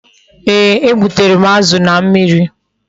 Ee, e gbutere m azụ na mmiri